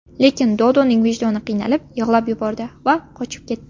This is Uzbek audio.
Lekin Dodoning vijdoni qiynalib, yig‘lab yubordi va qochib ketdi.